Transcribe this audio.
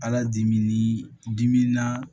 Ala dimi ni dimi naaa